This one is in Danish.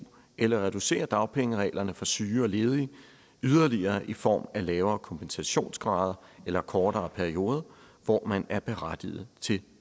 eller reducere dagpengereglerne for syge og ledige yderligere i form af lavere kompensationsgrader eller kortere periode hvor man er berettiget til